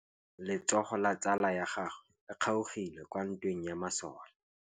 Letsôgô la tsala ya gagwe le kgaogile kwa ntweng ya masole.